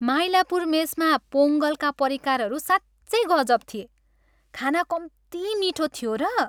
माइलापुर मेसमा पोङ्गलका परिकारहरू साँच्चै गजब थिए। खाना कम्ती मिठो थियो र!